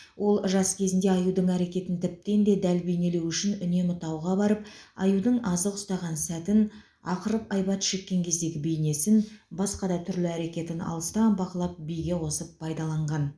ол жас кезінде аюдың әрекетін тіптен де дәл бейнелеу үшін үнемі тауға барып аюдың азық ұстаған сәтін ақырып айбат шеккен кездегі бейнесін басқа да түрлі әрекетін алыстан бақылап биге қосып пайдаланған